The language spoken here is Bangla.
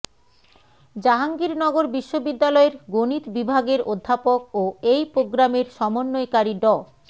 জাহাঙ্গীরনগর বিশ্ববিদ্যালয়ের গণিত বিভাগের অধ্যাপক ও এই প্রোগ্রামের সমন্বয়কারী ড